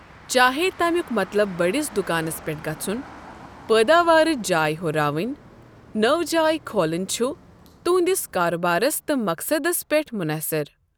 چاہے تمِیُک مَطلَب بٔڈِس دُکانَس پٮ۪ٹھ گَژُھن، پٲداوارٕچ جاے ہُراوِنۍ ، نٔو جاے کھولٕنۍ چُھ تہندِس کارٕبارَس تہٕ مَقصَدس پیٹھ منحصِر ۔